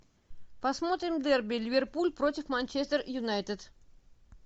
посмотрим дерби ливерпуль против манчестер юнайтед